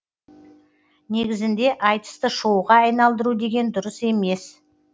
негізінде айтысты шоуға айналдыру деген дұрыс емес